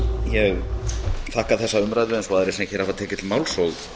ég þakka þessa umræðu eins og aðrir sem hafa tekið til máls og